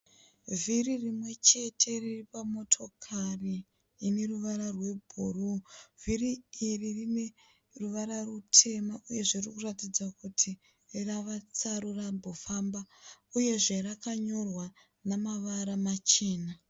Vhiri rimwe chete riri pamotokari ine ruvara rwebhuru. Vhiri iri rine ruvara rutema uyezve riri kuratidza kuti rave tsaru rambofamba uyezve rakanyorwa nemavara machena.